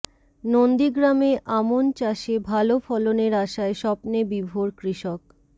নন্দীগ্রামে আমন চাষে ভালো ফলনের আশায় স্বপ্নে বিভোর কৃষক